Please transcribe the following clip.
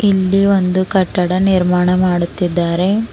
ಇಲ್ಲಿ ಒಂದು ಕಟ್ಟಡ ನಿರ್ಮಾಣ ಮಾಡುತ್ತಿದ್ದಾರೆ.